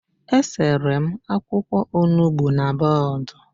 E sere m akwụkwọ Onugbu na bọọdụ